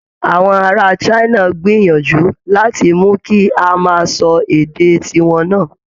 Àwọn ará China ń gbìyànjú láti mú kí a máa sọ èdè ti wọn náà